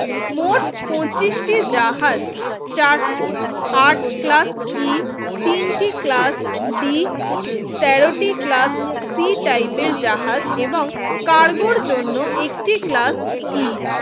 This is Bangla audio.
মোট পঁচিশ টি জাহাজ চার আট ক্লাস ই তিন টি ক্লাস বি তেরো টি ক্লাস সি টাইপের জাহাজ এবং কার্গোর জন্য একটি ক্লাস ই